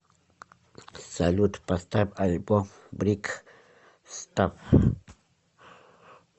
салют поставь альбом брик стаф